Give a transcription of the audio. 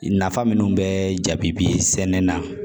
Nafa minnu bɛ jaabi bi sɛnɛ na